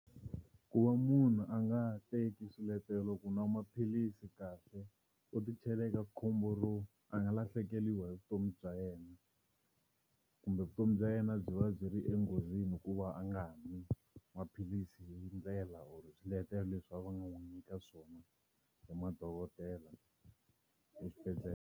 Ku va munhu a nga teki swiletelo ku nwa maphilisi kahle u ti chela eka khombo ro a nga lahlekeriwa hi vutomi bya yena kumbe vutomi yena byi va byi ri enghozini hikuva a nga ha nwi maphilisi hi ndlela or hi swiletelo leswi va nga n'wi nyika swona hi madokodela exibedhlele.